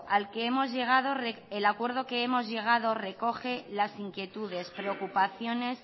al que hemos llegado recoge las inquietudes preocupaciones